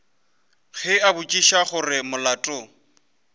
ge a botšiša gore molato